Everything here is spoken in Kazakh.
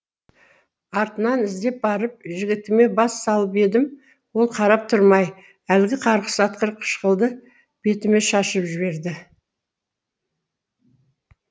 артынан іздеп барып жігітіме бас салып едім ол қарап тұрмай әлгі қарғыс атқыр қышқылды бетіме шашып жіберді